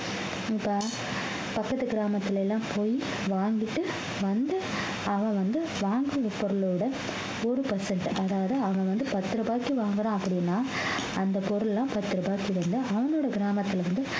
இப்ப பக்கத்து கிராமத்துல எல்லாம் போய் வாங்கிட்டு வந்து அவன் வந்து வாங்கின பொருளோட ஒரு percent அதாவது அவன் வந்து பத்து ரூபாய்க்கு வாங்குறான் அப்படின்னா அந்த பொருள் எல்லாம் பத்து ரூபாய் சேர்ந்து அவனோட கிராமத்துல இருந்து